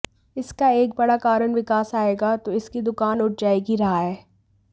इसका एक बड़ा कारण विकास आएगा तो इनकी दुकान उठ जाएगी रहा है